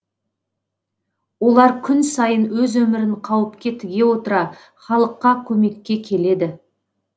олар күн сайын өз өмірін қауіпке тіге отыра халыққа көмекке келеді